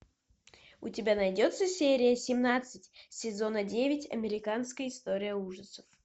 у тебя найдется серия семнадцать сезона девять американская история ужасов